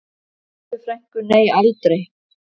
Bellu frænku, nei aldrei.